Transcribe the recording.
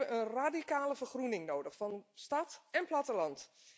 We hebben een radicale vergroening nodig van stad en platteland.